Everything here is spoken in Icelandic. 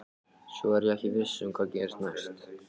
Svo er ég ekki viss um hvað gerist næst.